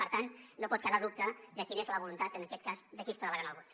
per tant no pot quedar dubte de quina és la voluntat en aquest cas de qui està delegant el vot